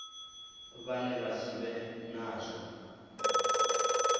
vhane vha si vhe nazwo